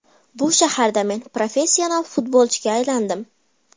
Bu shaharda men professional futbolchiga aylandim.